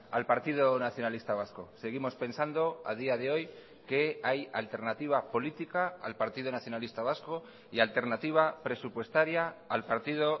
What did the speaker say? al partido nacionalista vasco seguimos pensando a día de hoy que hay alternativa política al partido nacionalista vasco y alternativa presupuestaria al partido